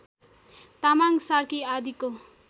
तामाङ सार्की आदिको